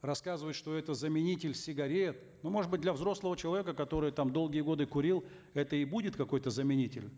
рассказывают что это заменитель сигарет ну может быть для взрослого человека который там долгие годы курил это и будет какой то заменитель